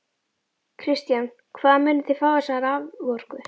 Kristján: Hvaðan munið þið fá þessa raforku?